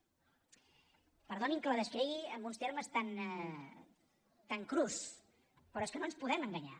perdonin que la descrigui en uns termes tan crus però és que no ens podem enganyar